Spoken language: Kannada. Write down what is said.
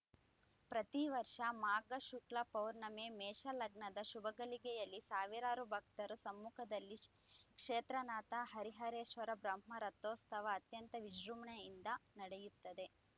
ಪ್ರತಿ ವರ್ಷ ಮಾಘ ಶುಕ್ಲ ಪೌರ್ಣಿಮೆ ಮೇಷ ಲಗ್ನದ ಶುಭಗಳಿಗೆಯಲ್ಲಿ ಸಾವಿರಾರು ಭಕ್ತರ ಸಮ್ಮುಖದಲ್ಲಿ ಕ್ಷೇತ್ರನಾಥ ಹರಿಹರೇಶ್ವರ ಬ್ರಹ್ಮ ರಥೋತ್ಸವ ಅತ್ಯಂತ ವಿಜೃಂಭಣೆಯಿಂದ ನಡೆಯುತ್ತದೆ